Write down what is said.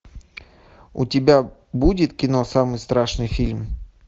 у тебя будет кино самый страшный фильм